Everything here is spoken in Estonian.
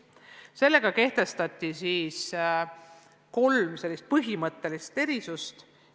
Sellega kehtestati kolm põhimõttelist erisust.